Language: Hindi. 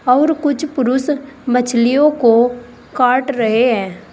और कुछ पुरुष मछलियों को काट रहे हैं।